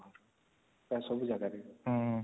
ପ୍ରାୟ ସବୁ ଜାଗାରେ